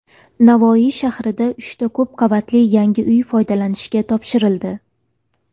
Navoiy shahrida uchta ko‘p qavatli yangi uy foydalanishga topshirildi.